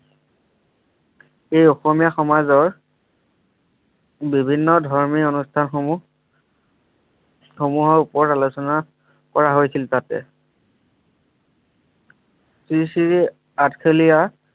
এই অসমীয়া সমাজৰ বিভিন্ন ধৰ্মী অনুষ্ঠানসমূহ সময়ৰ ওপৰত আলোচনা কৰা হৈছিল তাতে শ্ৰী শ্ৰী আঠখেলীয়া